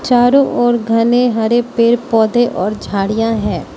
चारों ओर घने हरे पेड़ पौधे और झाड़ियां हैं।